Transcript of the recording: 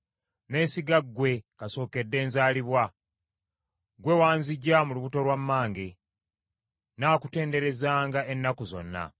Neesiga ggwe kasookedde nzalibwa; ggwe wanziggya mu lubuto lwa mmange. Nnaakutenderezanga ennaku zonna.